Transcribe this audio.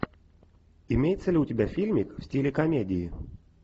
имеется ли у тебя фильмик в стиле комедии